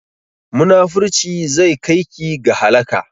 Munafurci zai kai ki ga halaka